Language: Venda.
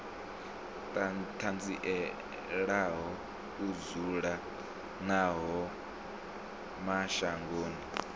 ṱanzielaho u dzula havho mashangoni